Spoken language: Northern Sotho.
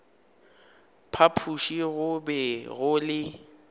phapoši go be go le